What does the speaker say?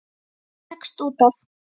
Ég leggst út af.